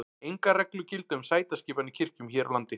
engar reglur gilda um sætaskipan í kirkjum hér á landi